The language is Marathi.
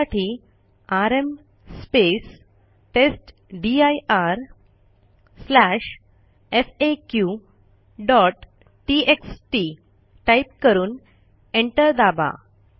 त्यासाठी आरएम testdirfaqटीएक्सटी टाईप करून एंटर दाबा